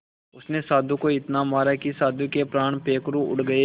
उसने साधु को इतना मारा कि साधु के प्राण पखेरु उड़ गए